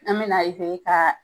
An be na ka